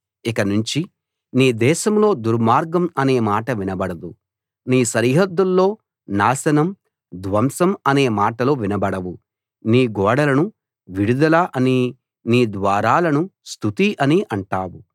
ఇకనుంచి నీ దేశంలో దుర్మార్గం అనే మాట వినబడదు నీ సరిహద్దుల్లో నాశనం ధ్వంసం అనే మాటలు వినబడవు నీ గోడలను విడుదల అనీ నీ ద్వారాలను స్తుతి అనీ అంటావు